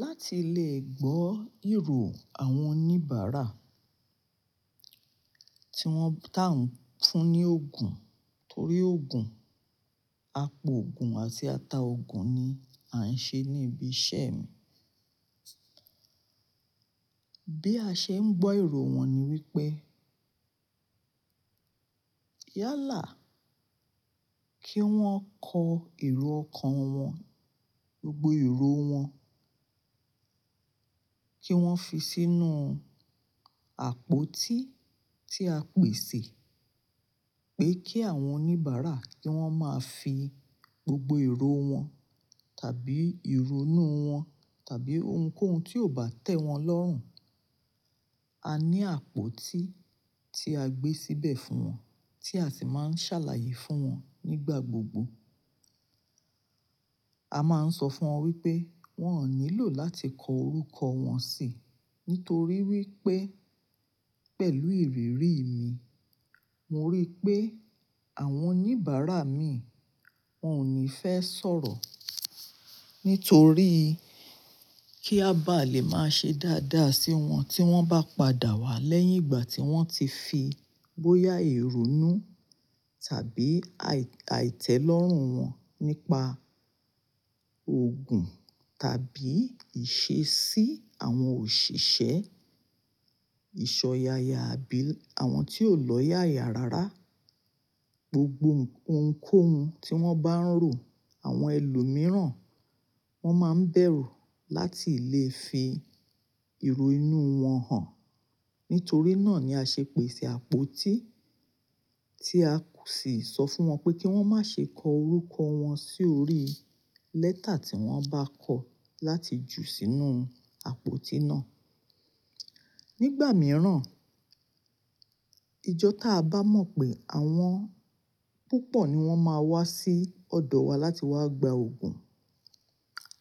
Láti lè gbọ́ èrò àwọn oníbàárà tí wọ́n, tá ń fún ní òògùn torí òògùn, apòògùn àti ataòògùn ni à ń ṣe ní ibi iṣẹ́ mi. Bí a ṣe ń gbọ́ èrò wọn ni wípé, yálà kí wón kọ èrò ọkàn wọn, gbogbo èrò wọn kí wọ́n fi sínú àpótí tí a pèsè pé kí àwọn oníbàárà kí wọ́n máa fi gbogbo èrò wọn tàbí ìrunú wọn tàbí ohunkóhun tí ò bá tẹ́ wọn lọ́rùn. A ní àpótí tí a gbé síbẹ̀ fún wọn tí a sì máa ń ṣàlàyé fún wọn nígbà gbogbo. A máa ń sọ fún wọn wípé wón ò nílò láti kọ orúkọ wọn sí, nítorí wípé pẹ̀lú ìrírí mi, mo rí pé àwọn oníbàárà mi wón ò ní fẹ́ sọ̀rọ̀. Nítorí kí a bá lè máa ṣe dáadáa sí wọn tí wọ́n bá padà wá lẹ́yìn ìgbà tí wọ́n ti fi bóyá ìrunú tàbí àìtẹ́lọ́rùn wọn nípa òògùn tàbí ìṣesí àwọn òṣìṣẹ́, ìsọ̀yàyà àbí àwọn tí ó lọ́yàyà rárá. Gbogbo ohunkóhun tí wọ́n bá ń rò àwọn ẹlòmíràn, wọ́n máa ń bẹ̀rù láti lè fi ìrò inú wọn hàn. Nítorí náà ni a ṣe pèsè àpótí tí a sì sọ fún wọn pé kí wọ́n má ṣe kọ orúkọ wọn sórí lẹ́tà tí wọ́n bá kọ láti ju sínú àpótí náà. Nígbà mìíràn, ijọ́ tá a bá mọ̀ pé àwọn púpọ̀ ni wọ́n máa wá sí ọ̀dọ̀ wa láti wá gba òògùn,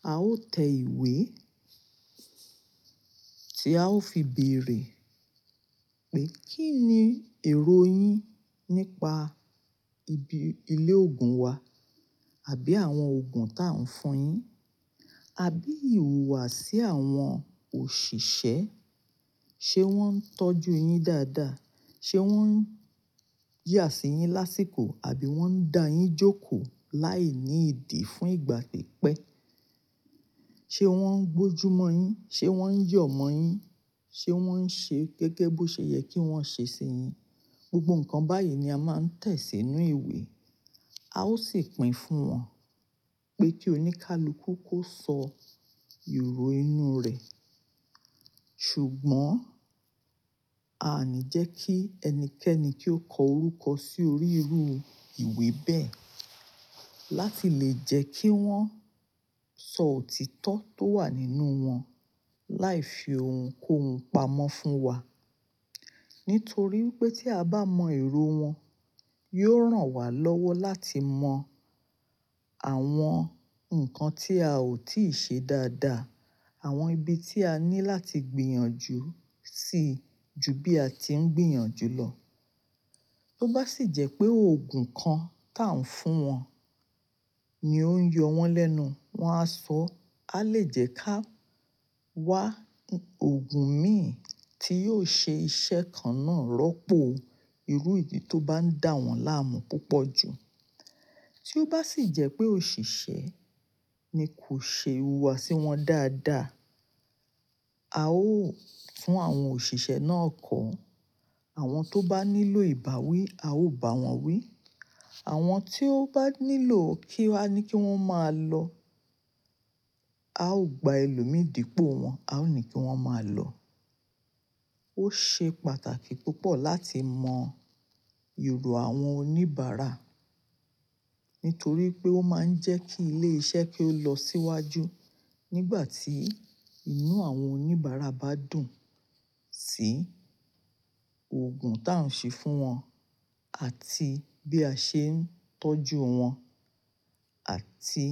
a ó tẹ ìwé tí a ó fi bèèrè pé kí ni èrò yín nípa ibi ilé òògùn wa àbí àwọn òògùn tá ń fún yín? Àbí ìhùwàsí àwọn òṣìṣẹ́, ṣe wọ́n ń tọ́jú yín dáadáa? Ṣe wọ́n ń yà sí yín lásìkò àbí wọ́n ń da yín jókòó láìní ìdí fún ìgbà pípẹ́? Ṣe wọ́n ń gbójúmọ́ yín? Ṣe wọ́n ń yọ̀ mọ́ yín? Ṣe wọ́n ń ṣe gẹ́gẹ́ bó ṣe yẹ kí wọ́n ṣe sí yín? Gbogbo nǹkan báyìí ni a máa ń tẹ̀ sínú ìwé. A ó sì pín fún wọn pé kí oníkálukú kó sọ ìrò inú rẹ̀. Ṣùgbọ́n a ní jẹ́kí ẹnikẹ́ni kí ó kọ orúkọ sí orí irú ìwé bẹ́ẹ̀ láti lè jẹ́ kí wọ́n sọ òtítọ́ tó wà nínú wọn láì fi ohunkóhun pamọ́ fún wa. Nítorí wípé tí a bá mọ èrò wọn, yiò ràn wá lọ́wọ́ láti mọ àwọn nǹkan tí a ò tíì ṣe dáadáa, àwọn ibi tí a ní láti gbìyànjú sí ju bí a ti ń gbìyànjú lọ. Tó bá sì jẹ́ pé òògùn kan tá ń fún wọn ni ó ń yọ wọ́n lẹ́nu, wọn á sọ, a lè jẹ́ ká wá òògùn mí ì tí yóò ṣe iṣẹ́ kan náà rọ́pò irú ìyí tó bá ń dà wọ́n láàmú púpọ̀ ju. Tí ó bá sì jẹ́ pé òṣìṣẹ́ ni kò ṣe ìhùwàsí wọ́n dáadáa, a ó fún àwọn òṣìṣẹ́ náà kọ́. Àwọn tó bá nílò ìbáwí a ó bà wọ́n wí. Àwọn tí ó bá nílò kí a ní kí wọ́n máa lọ, a ó gba ẹlòmíì dípọ̀ wọ́n, a ó ní kí wọ́n máa lọ. Ó ṣe pàtàkì púpọ̀ láti mọ ìrò àwọn oníbàárà nítorí pé ó máa ń jẹ́ kí ilé iṣẹ́ kó lọ síwájú nígbà tí inú àwọn oníbàárà bá dùn sí òògùn tá ń ṣe fún wọn àti bí a ṣe ń tọ́jú wọn àti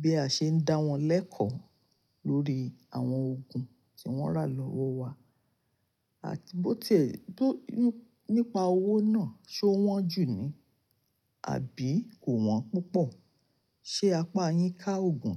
bí a ṣe ń dá wọ́n lẹ́kọ̀ọ́ lórí àwọn òògùn tí wọ́n rà lọ́wọ́ wa àti bó tí è-tó inú, nípa owó náà, ṣé ó wọ́n jù ni àbí kò wọ́n púpọ̀? Ṣé apá yín ká òògùn?